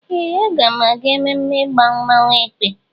Ee! Aga m aga n'ememme ịgba mmọnwụ Èkpè.